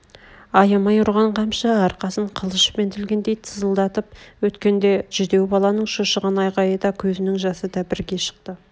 аямай ұрған қамшы арқасын қылышпен тілгендей тызылдатып өткенде жүдеу баланың шошыған айғайы да көзнің жасы да бірге шықты